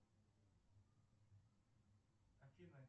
афина